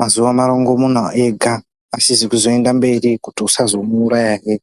mazuwa marongomuna ega asisi kuenda mberi kuti usazomuuraya hee.